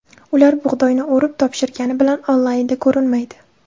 Ular bug‘doyni o‘rib, topshirgani bilan onlaynda ko‘rinmaydi.